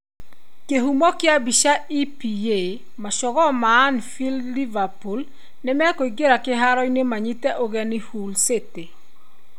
Kĩhumo kĩa mbica, EPA.Macogoo ma Anfield Liverpool nĩ mekũingĩra kĩharoinĩ manyite ũgeni Hull City.